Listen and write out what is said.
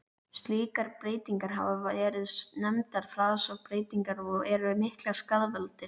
Slíkar breytingar hafa verið nefndar fasabreytingar og eru miklir skaðvaldar.